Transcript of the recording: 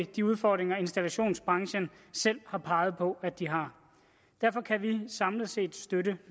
de udfordringer installationsbranchen selv har peget på at de har derfor kan vi samlet set støtte